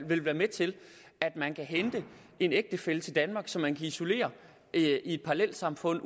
vil være med til at man kan hente en ægtefælle til danmark som man kan isolere i et parallelsamfund